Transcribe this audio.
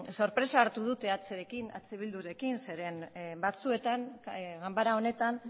sorpresa hartu dut eh bildurekin zeren batzuetan ganbara honetan